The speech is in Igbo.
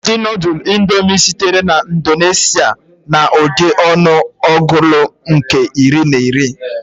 Ụdị noddles indomie sitere na Indonesia na Ụdị ọnụ ọgụụlụ nke iri na iri.